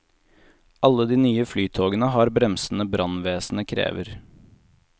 Alle de nye flytogene har bremsene brannvesenet krever.